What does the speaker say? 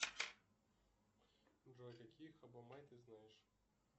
джой какие хабо май ты знаешь